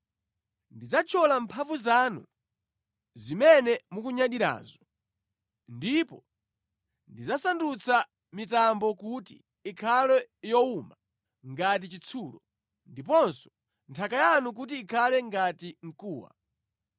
Ndidzathyola mphamvu zanu zimene mukunyadirazo, ndipo ndidzasandutsa mitambo kuti ikhale yowuma ngati chitsulo, ndiponso nthaka yanu kuti ikhale ngati mkuwa.